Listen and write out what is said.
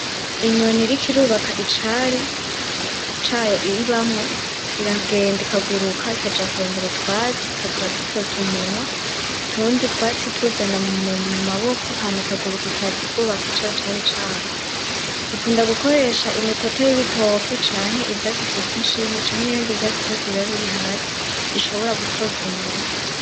Inyoni iriko irubaka icari, cayo ibamwo iragenda ikaguruka ikaja kurondera utwatsi ikaza iradutoza umunwa utundi twatsi ituzana mu maboko hama ikaguruka ikaza ikubaka ca cari cayo ikunda gukoresha imitoto y'ibitoke canke ivyatsi vyitwa inshinge canke ibindi vyatsi vyose biba biri hasi ishobora gutoza umunwa.